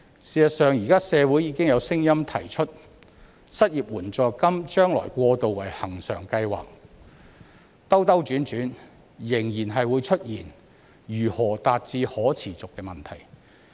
事實上，現時社會已經有聲音提出失業援助金將來過渡為恆常計劃，但兜兜轉轉仍然會出現如何達致可持續的問題。